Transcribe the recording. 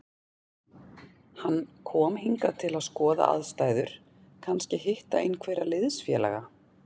Hann kom hingað til að skoða aðstæður, kannski hitta einhverja liðsfélaga.